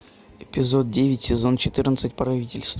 эпизод девять сезон четырнадцать правительство